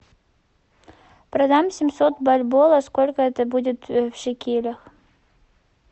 продам семьсот бальбоа сколько это будет в шекелях